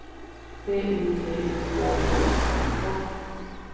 B U T I K E R N A